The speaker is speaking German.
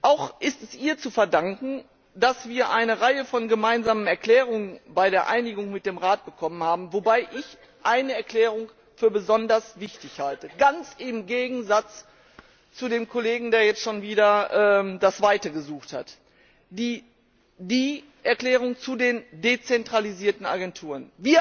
Auch ist es ihr zu verdanken, dass wir eine Reihe von gemeinsamen Erklärungen bei der Einigung mit dem Rat bekommen haben, wobei ich eine Erklärung für besonders wichtig halte ganz im Gegensatz zu dem Kollegen, der jetzt schon wieder das Weite gesucht hat die Erklärung zu den dezentralisierten Agenturen.